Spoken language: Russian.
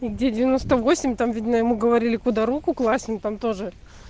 и где девяносто восемь там видно ему говорили куда руку класть ну там тоже